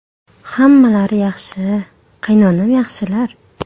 Hammalari yaxshi, qaynonam yaxshilar.